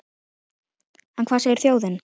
En hvað segir þjóðin?